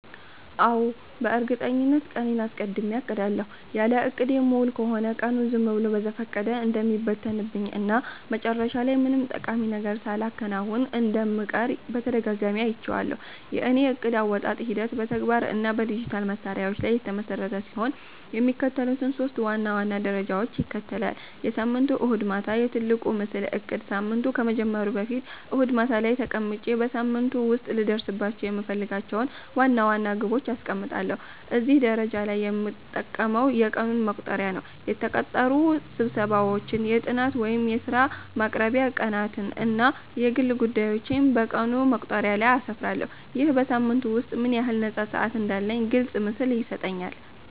አዎ፣ በእርግጠኝነት ቀኔን አስቀድሜ አቅዳለሁ። ያለ እቅድ የምውል ከሆነ ቀኑ ዝም ብሎ በዘፈቀደ እንደሚበተንብኝ እና መጨረሻ ላይ ምንም ጠቃሚ ነገር ሳላከናውን እንደምቀር በተደጋጋሚ አይቼዋለሁ። የእኔ የዕቅድ አወጣጥ ሂደት በተግባር እና በዲጂታል መሣሪያዎች ላይ የተመሰረተ ሲሆን፣ የሚከተሉትን ሶስት ዋና ዋና ደረጃዎች ይከተላል፦ የሳምንቱ እሁድ ማታ፦ "የትልቁ ምስል" እቅድ ሳምንቱ ከመጀመሩ በፊት እሁድ ማታ ላይ ተቀምጬ በሳምንቱ ውስጥ ልደርስባቸው የምፈልጋቸውን ዋና ዋና ግቦች አስቀምጣለሁ። እዚህ ደረጃ ላይ የምጠቀመው የቀን መቁጠሪያ ነው። የተቀጠሩ ስብሰባዎችን፣ የጥናት ወይም የሥራ ማቅረቢያ ቀናትን እና የግል ጉዳዮቼን በቀን መቁጠሪያው ላይ አስፍራለሁ። ይህ በሳምንቱ ውስጥ ምን ያህል ነፃ ሰዓት እንዳለኝ ግልጽ ምስል ይሰጠኛል።